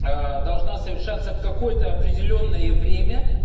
аа должно совершаться в какое-то определённое время